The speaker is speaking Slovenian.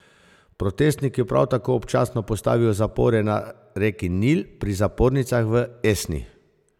Protestniki prav tako občasno postavijo zapore na reki Nil pri zapornicah v Esni.